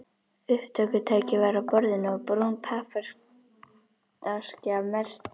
Upptökutæki var á borðinu og brún pappaaskja merkt